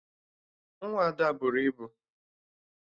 Nwa Ada buru ibu